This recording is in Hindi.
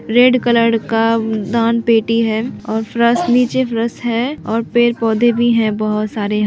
रेड कलर का दान पेटी है और फरश नीचे फरश है और पेड़-पोधे भी हैं बहुत सारे--